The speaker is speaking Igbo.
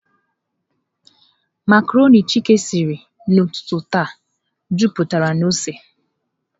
Macarọnị Chika siri ụtụtụ taa, jupụtara na ose.